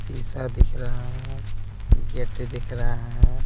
शीशा दिख रहा है गेट दिख रहा है।